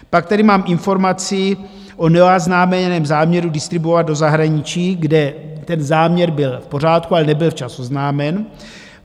Pak tady mám informaci o neoznámeném záměru distribuovat do zahraničí, kde ten záměr byl v pořádku, ale nebyl včas oznámen.